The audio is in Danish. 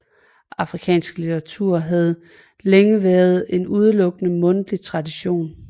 Afrikansk litteratur havde længe været en udelukkende mundtlig tradition